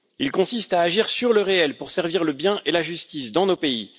Il consiste à agir sur le réel pour servir le bien et la justice dans nos pays.